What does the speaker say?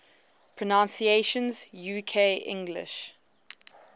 pronunciations uk english